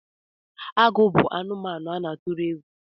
Agụ bụ anụmanụ a na-atụrụ egwu